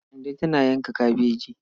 Kande tana yanka kabejin.